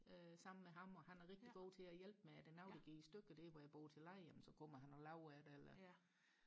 øh sammen med ham og han er rigtig god til at hjælpe med er der noget der går i stykker der hvor jeg bor til leje jamen så kommer han og laver det eller